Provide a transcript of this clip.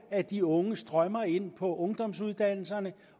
at de unge strømmer ind på ungdomsuddannelserne